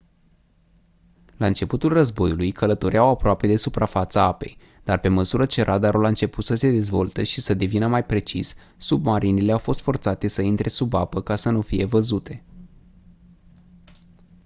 la începutul războiului călătoreau aproape de suprafața apei dar pe măsură ce radarul a început să se dezvolte și să devină mai precis submarinele au fost forțate să intre sub apă ca să nu fie văzute